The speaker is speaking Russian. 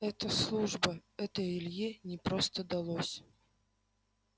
это служба это илье непросто далось